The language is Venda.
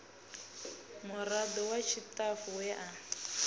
murado wa tshitafu we a